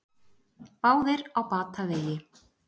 Báðir á batavegi